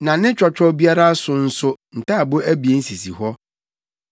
na ne twɔtwɔw biara so nso ntaaboo abien sisi hɔ.